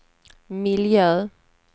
miljö